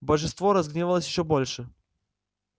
божество разгневалось ещё больше